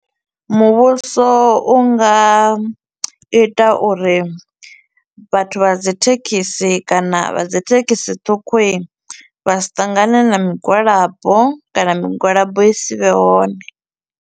Muvhuso u nga ita uri vhathu vha dzi thekhisi kana vha dzi thekhisi ṱhukhu i, vha si ṱangane na migwalabo kana migwalabo i si vhe hone.